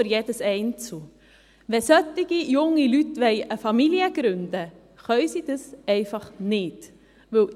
Wenn solche jungen Leute eine Familie gründen wollen, können sie dies nicht tun.